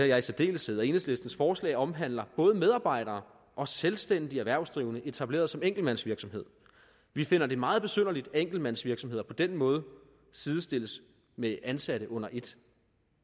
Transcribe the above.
jeg i særdeleshed at enhedslistens forslag omhandler både medarbejdere og selvstændige erhvervsdrivende etableret som enkeltmandsvirksomhed vi finder det meget besynderligt at enkeltmandsvirksomheder på den måde sidestilles med ansatte under et